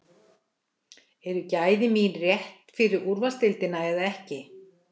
Eru gæði mín rétt fyrir úrvalsdeildina eða ekki?